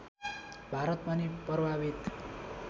भारत पनि प्रभावित